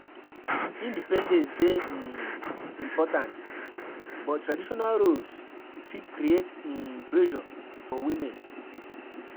Independence dey um important, but traditional roles fit create um pressure for women.